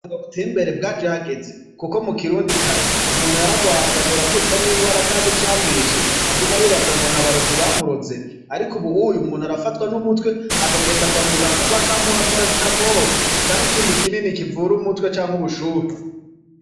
Ubihinga buteye imbere bwaje hageze kuko mukirundi kare umuntu yaragwara agashobora kwicwa nigwara atazi icamwishe akaguma yibaza ngo nabarozi bamuroze ariko ubu umuntu arafatwa numutwe akagenda kwa muganga bakamuha paracetamol canke ikindi kinini kivura umutwe canke ubushuhe.